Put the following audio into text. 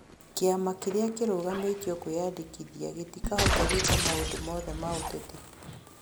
Kĩama kĩrĩa kĩrũgamĩtĩo kwiyandĩkĩthĩa gĩtĩkahota gwĩka maũndũ mothe ma ũtetĩ